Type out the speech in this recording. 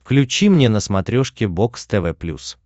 включи мне на смотрешке бокс тв плюс